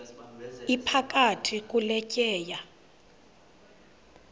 iphakathi kule tyeya